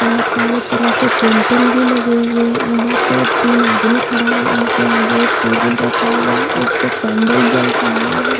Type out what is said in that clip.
बहुत सारे तरह के पेंटिंग भी लगे हुए है यहां पे तीन आदमी खड़ा है उनके आगे एक टेबल रखा हुआ है उस पे कैंडल जल रहा है।